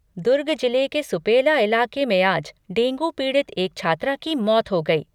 दुर्ग जिले के सुपेला इलाके में आज डेंगू पीड़ित एक छात्रा की मौत हो गई।